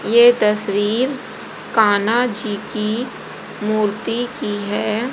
ये तस्वीर कान्हा जी की मूर्ति की है।